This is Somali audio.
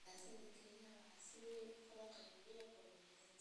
Siyaasadda Kenya waxaa si weyn u kala qaybiyay qowmiyad.